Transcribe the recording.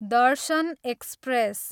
Darshan express